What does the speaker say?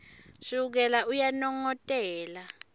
shukela uyanongotela